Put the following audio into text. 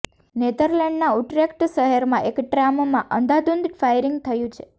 નેધરલેન્ડના Utrecht શહેરમાં એક ટ્રામમાં અંધાધૂંધ ફાયરિંગ થયું છે